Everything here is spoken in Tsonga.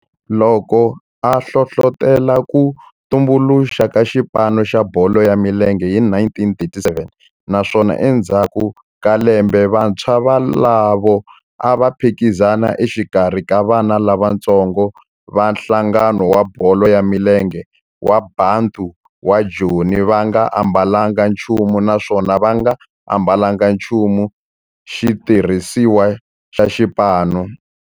Loko a hlohlotela ku tumbuluxiwa ka xipano xa bolo ya milenge hi 1937 naswona endzhaku ka lembe vantshwa volavo a va phikizana exikarhi ka vana lavatsongo va nhlangano wa bolo ya milenge wa Bantu wa Joni va nga ambalanga nchumu naswona va nga ambalanga nchumu xitirhisiwa xa xipano.